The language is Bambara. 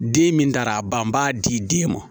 Den min dara a ban b'a di den ma